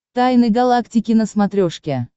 тайны галактики на смотрешке